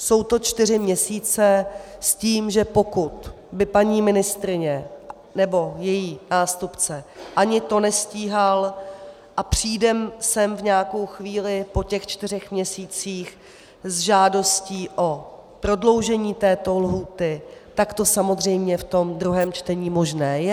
Jsou to čtyři měsíce, s tím, že pokud by paní ministryně nebo její nástupce ani to nestíhal, a přijde sem v nějakou chvíli po těch čtyřech měsících s žádostí o prodloužení této lhůty, tak to samozřejmě v tom druhém čtení možné je.